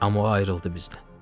Amma o ayrıldı bizdən.